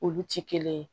Olu ti kelen ye